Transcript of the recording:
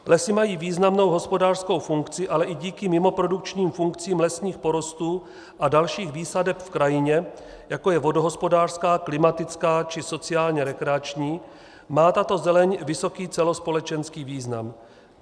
Lesy mají významnou hospodářskou funkci, ale i díky mimoprodukčním funkcím lesního porostu a dalších výsadeb v krajině, jako je vodohospodářská, klimatická či sociálně rekreační, má tato zeleň vysoký celospolečenský význam.